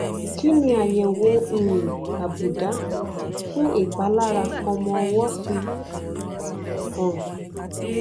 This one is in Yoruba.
kí ni àyẹwò um àbùdá fún ìpalára ọmọ ọwọ fi hàn